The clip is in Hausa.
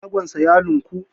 shagonsa ya lunkui